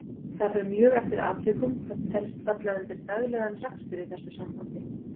Það fer mjög eftir atvikum hvað telst falla undir daglegan rekstur í þessu sambandi.